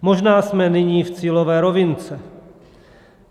Možná jsme nyní v cílové rovince.